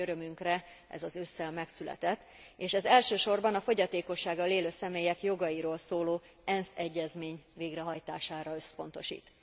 Nagy örömünkre ez az ősszel megszületett és elsősorban a fogyatékossággal élő személyek jogairól szóló ENSZ egyezmény végrehajtására összpontosít.